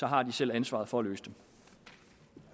har de selv ansvaret for